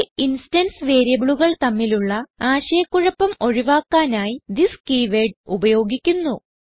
local instance വേരിയബിളുകൾ തമ്മിലുള്ള ആശയ കുഴപ്പം ഒഴിവാക്കാനായി തിസ് കീവേർഡ് ഉപയോഗിക്കുന്നു